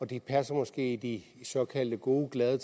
de passede måske i de såkaldt gode glade